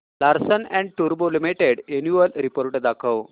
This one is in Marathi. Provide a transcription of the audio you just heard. लार्सन अँड टुर्बो लिमिटेड अॅन्युअल रिपोर्ट दाखव